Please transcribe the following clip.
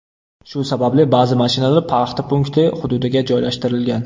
Shu sababli ba’zi mashinalar paxta punkti hududiga joylashtirilgan.